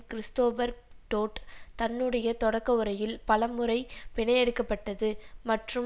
Christopher Dodd தன்னுடைய தொடக்க உரையில் பல முறை பிணையெடுக்கப்பட்டது மற்றும்